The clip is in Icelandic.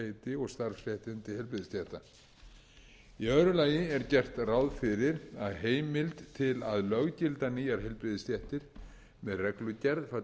starfsheiti og starfsréttindi heilbrigðisstétta í öðru lagi er gert ráð fyrir að heimild til að löggilda nýjar heilbrigðisstéttir með reglugerð falli